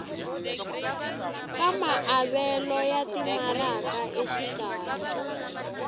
ka maavelo ya timaraka exikarhi